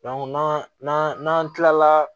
n'an n'an kila la